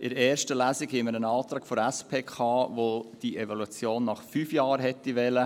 In der ersten Lesung hatten wir einen Antrag der SP, der diese Evaluation nach fünf Jahren gewollt hätte.